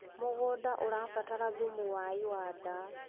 mũgũnda ũrabatara thumu wa iwanda